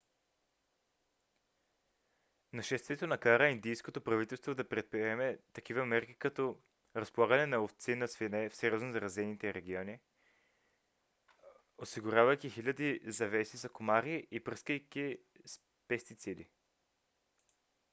нашествието накара индийското правителство да предприеме такива мерки като разполагане на ловци на свине в сериозно засегнатите райони осигурявайки хиляди завеси за комари и пръскайки с пестициди